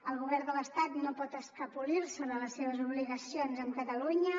el govern de l’estat no pot escapolir se de les seves obligacions amb catalunya